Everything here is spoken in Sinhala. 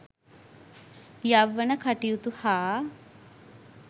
යෞවන කටයුතු හා